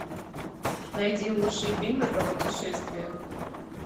найди лучшие фильмы про путешествия